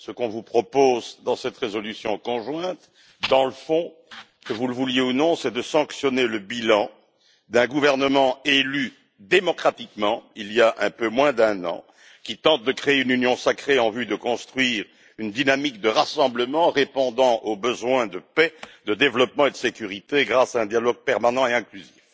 Ce qu'on vous propose dans cette résolution conjointe, dans le fond, que vous le vouliez ou non, c'est de sanctionner le bilan d'un gouvernement élu démocratiquement, il y a un peu moins d'un an, qui tente de créer une union sacrée en vue de construire une dynamique de rassemblement répondant aux besoins de paix, de développement et de sécurité, grâce à un dialogue permanent et inclusif.